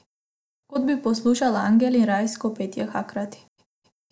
Kot bi poslušal angele in rajsko petje hkrati.